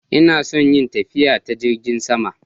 Ina son yin tafiya ta Jingin sama.